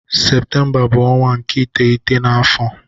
Septemba bu onwa nke iteghete na afo